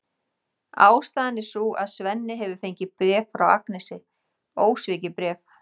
Ástæðan er sú að Svenni hefur fengið bréf frá Agnesi, ósvikið bréf!